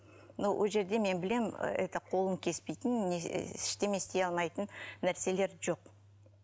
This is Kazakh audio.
ну ол жерде мен білемін это қолын кеспейтінін ештеме істей алмайтынын нәрселер жоқ